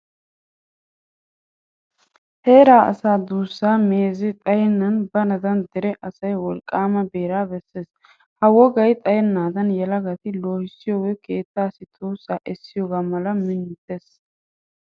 Heeraa asaa duussaa meezee xayennan baanaadan dere asay wolqqaama beeraa bessees. Ha wogay xayennaadan yelagata loohissiyogee keettaassi tuussaa essiyogaa mala minutes.